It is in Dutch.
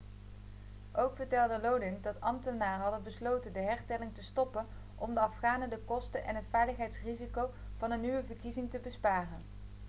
ook vertelde lodin dat ambtenaren hadden besloten de hertelling te stoppen om de afghanen de kosten en het veiligheidsrisico van een nieuwe verkiezing te besparen